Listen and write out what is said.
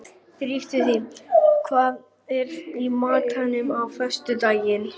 Dagfinnur, hvað er í matinn á föstudaginn?